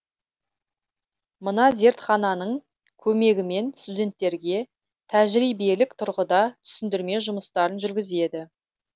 мына зертхананың көмегімен студенттерге тәжірибелік тұрғыда түсіндірме жұмыстарын жүргізеді